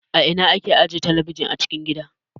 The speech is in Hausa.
A ina ake ajiye talabijin a cikin gida?